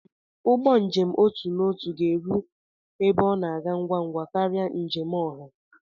Ụgbọ njem n'otu n'otu ga-eru ebe ọ na-aga ngwa ngwa karịa njem oha.